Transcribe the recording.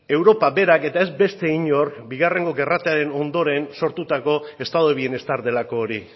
europa berak eta ez beste inork bigarrengo gerratearen ondoren sortutako estado de bienestar delako hori